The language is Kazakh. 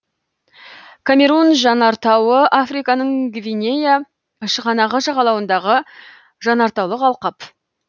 камерун жанартауы африканың гвинея шығанағы жағалауындағы жанартаулық алқап